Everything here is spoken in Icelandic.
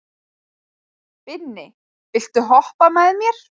Binni, viltu hoppa með mér?